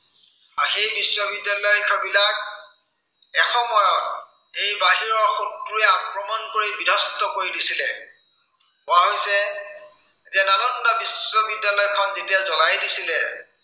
বা সেই বিশ্ববিদ্য়ালয় বিলাক এসময়ত এই বাহিৰৰ শত্ৰুৱে আক্ৰমন কৰি বিধ্বস্ত কৰি দিছিলে। কোৱা হৈছে যে, নালন্দা বিশ্ববিদ্য়ালয়খন যেতিয়া জ্বলাই দিছিলে